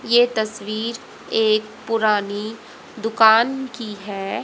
ये तस्वीर एक पुरानी दुकान की है।